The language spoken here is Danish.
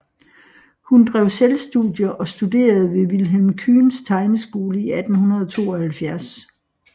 Hun drev selvstudier og studerede ved Vilhelm Kyhns tegneskole i 1872